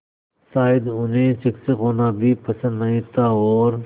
शायद उन्हें शिक्षक होना भी पसंद नहीं था और